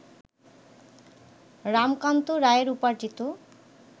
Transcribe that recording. রামকান্ত রায়ের উপার্জিত